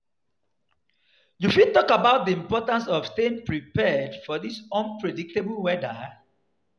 You fit talk about di importance of staying prepared for di unpredictable weather.